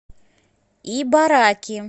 ибараки